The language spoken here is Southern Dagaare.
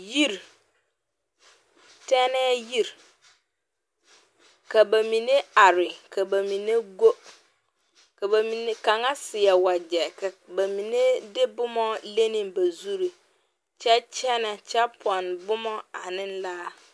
Yiri tɛnɛɛ yiri ka ba mine are ka ba mine go ka ba mine ka kaŋa seɛ wagyɛ ka ba mine de boma leŋ ne ba zuri kyɛ kyɛnɛ kyɛ pɔnne boma ane laare.